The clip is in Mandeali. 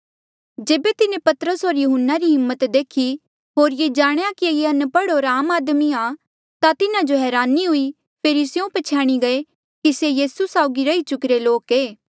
जेबे तिन्हें पतरस होर यहून्ना री हिम्मत देखी होर ये जाणेया कि ये अनपढ़ होर आम आदमी आ ता तिन्हा जो हरानी हुई फेरी स्यों प्छ्याणी गये कि ये यीसू साउगी रही चुकिरे लोक ऐें